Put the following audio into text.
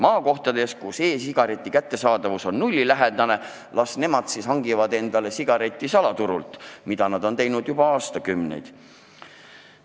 Maakohtades, kus e-sigareti kättesaadavus on nullilähedane, las rahvas hangib endale sigaretid salaturult, mida nad ongi teinud juba aastakümneid.